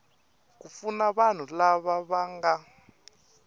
ku pfuna vanhu lava nga